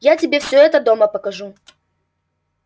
я тебе всё это дома покажу